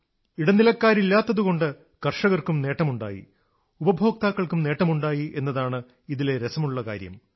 ഇടനിലക്കാരില്ലാത്തതുകൊണ്ട് കർഷകർക്കും നേട്ടമുണ്ടായി ഉപഭോക്താക്കൾക്കും നേട്ടമുണ്ടായി എന്നതാണ് ഇതിലെ രസമുള്ള കാര്യം